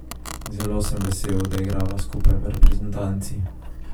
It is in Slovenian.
Zelo sem vesel, da igrava skupaj v reprezentanci.